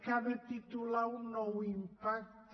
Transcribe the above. cada titular un nou impacte